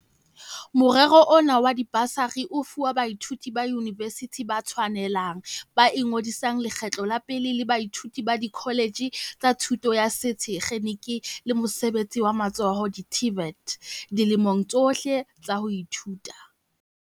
Morero ona wa dibasari o fuwa baithuti ba yunivesithi ba tshwanelang ba ingodisang lekgetlo la pele le baithuti ba dikholetjhe tsa thuto ya sethe kgeniki le mosebetsi wa matsoho, di-TVET, dilemong tsohle tsa ho ithuta.